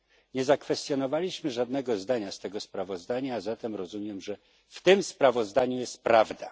Nie zakwestionowaliśmy żadnego zdania z tego sprawozdania, a zatem rozumiem, że w tym sprawozdaniu jest prawda.